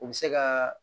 U bɛ se ka